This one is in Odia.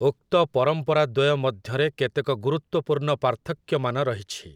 ଉକ୍ତ ପରମ୍ପରା ଦ୍ୱୟ ମଧ୍ୟରେ କେତେକ ଗୁରୁତ୍ୱପୂର୍ଣ୍ଣ ପାର୍ଥକ୍ୟମାନ ରହିଛି ।